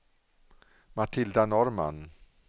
Matilda Norrman